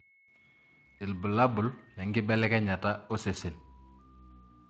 Ibulabul lenkibelekenyata osesen